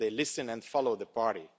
they listen and follow the party.